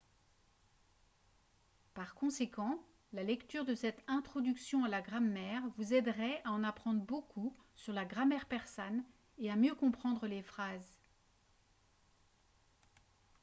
par conséquent la lecture de cette introduction à la grammaire vous aiderait à en apprendre beaucoup sur la grammaire persane et à mieux comprendre les phrases